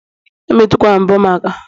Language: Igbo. Emetukwala mbo m aka!